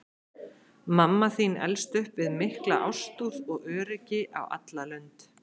Mamma þín elst upp við mikla ástúð og öryggi á alla lund.